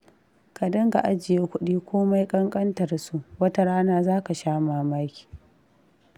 Ka dinga ajiye kuɗi komai ƙanƙantar su, wata rana zaka sha mamaki.